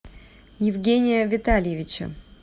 евгения витальевича